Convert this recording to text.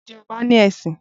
Ǹjẹ́ ọba ní ẹṣin?